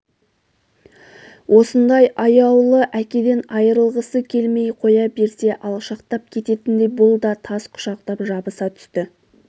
осындай аяулы әкеден айрылғысы келмей қоя берсе алшақтап кететіндей бұл да тас құшақтап жабыса түсті